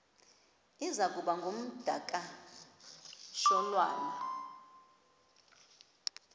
iza kuba ngumdakasholwana